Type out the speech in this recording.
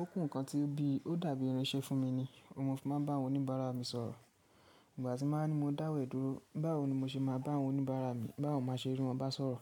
ó kù nǹkan tí bí ó dàbí irinṣẹ́ fún mi ni. Òun mo fi máa ń bá àwọn oníbàárà mi sọ̀rọ̀. Nígbà tí mo bá dáwọ́ ẹ dúró, báwo ni mo ṣe máa bá àwọn oníbàárà mi, báwo má ṣe rí wọn bá sọ̀rọ̀?